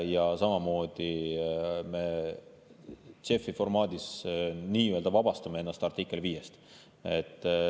Ja samamoodi me JEF‑i formaadis nii-öelda vabastame ennast artiklist 5.